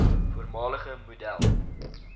voormalige model